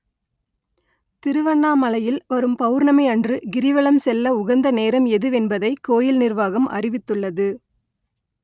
‌திருவ‌ண்ணாமலை‌யி‌ல் வரு‌ம் பெள‌ர்ண‌‌மி அ‌ன்று ‌கி‌ரிவல‌ம் செ‌ல்ல உக‌ந்த நேர‌ம் எ‌துவெ‌ன்பதை கோ‌யி‌ல் ‌நி‌ர்வாக‌ம் அ‌றி‌வி‌த்து‌ள்ளது